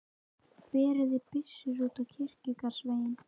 Berið þið byssur út á kirkjugarðsvegginn.